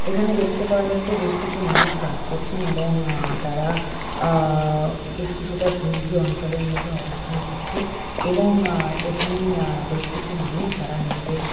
এখানে দেখতে পাওয়া যাচ্ছে বেশ কিছু মানুষ কাজ করছেন এবং আ তারা আ বেশ কিছুটা ঘিঞ্জি অঞ্চলের মধ্যে অবস্থান করছে এবং আ এখানে আবেশ কিছু মানুষ তারা নিজেদের--